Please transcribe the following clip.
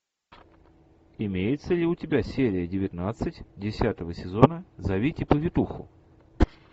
имеется ли у тебя серия девятнадцать десятого сезона зовите повитуху